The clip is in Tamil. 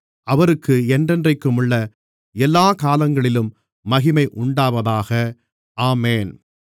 அவருக்கு என்றென்றைக்குமுள்ள எல்லாக் காலங்களிலும் மகிமை உண்டாவதாக ஆமென்